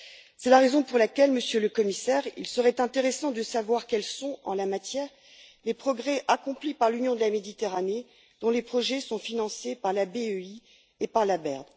C'est la raison pour laquelle, Monsieur le Commissaire, il serait intéressant de savoir quels sont, en la matière, les progrès accomplis par l'Union pour la Méditerranée dont les projets sont financés par la BEI et par la BERD?